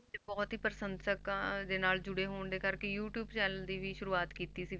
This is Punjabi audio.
ਬਹੁਤ ਹੀ ਪ੍ਰਸੰਸਕਾਂ ਦੇ ਨਾਲ ਜੁੜੇ ਹੋਣ ਦੇ ਕਰਕੇ ਯੂਟਿਊਬ channel ਦੀ ਵੀ ਸ਼ੁਰੂਆਤ ਕੀਤੀ ਸੀ